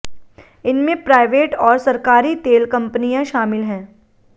इनमें प्राइवेट और सरकारी तेल कंपनियां शामिल हैं